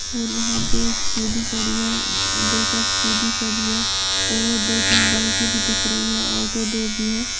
और वहां पे एक स्कूटी खड़ी है दो चार स्कूटी खड़ी है और दो तीन बाइके भी दिख रही है ऑटो दो भी है।